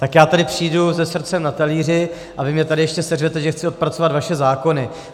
Tak já sem přijdu se srdcem na talíři a vy mě tady ještě seřvete, že chci odpracovat vaše zákony.